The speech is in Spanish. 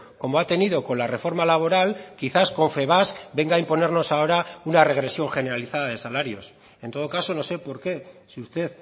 como ha tenido con la reforma laboral quizás confebask venga a imponernos ahora una regresión generalizada de salarios en todo caso no sé por qué si usted